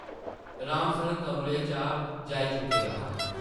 राम सरन कमरे चा जाई चुके दा हा ।